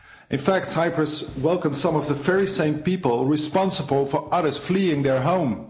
In fact, Cyprus welcomed some of the very same people responsible for others fleeing their home.